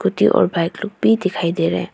Scooty और bike लोग भी दिखाई दे रहे हैं।